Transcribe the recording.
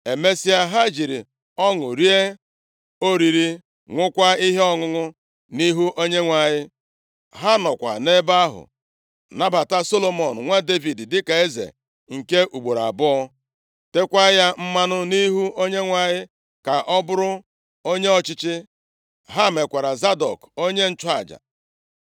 Emesịa, ha jiri ọṅụ rie oriri, ṅụkwaa ihe ọṅụṅụ nʼihu Onyenwe anyị. Ha nọkwa nʼebe ahụ nabata Solomọn, nwa Devid dịka eze nke ugboro abụọ, teekwa ya mmanụ nʼihu Onyenwe anyị ka ọ bụrụ onye ọchịchị. Ha mekwara Zadọk onye nchụaja.